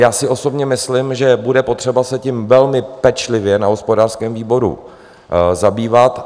Já si osobně myslím, že bude potřeba se tím velmi pečlivě na hospodářském výboru zabývat.